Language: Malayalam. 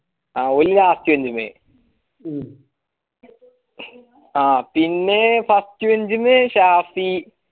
ഓൺ first bench മ്മെ പിന്നെ last bench ന്ന് ഷാഫി